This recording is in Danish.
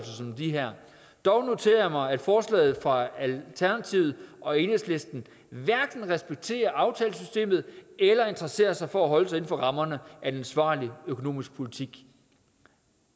som de her dog noterede jeg mig at forslaget fra alternativet og enhedslisten hverken respekterer aftalesystemet eller interesserer sig for at holde sig inden for rammerne af en ansvarlig økonomisk politik